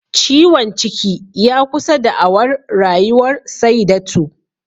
Ciwon ciki ya kusa da'awar Rayuwar Saidatu